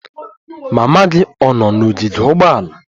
Mama gị ọ̀ nọ n'ogige ụgbọala?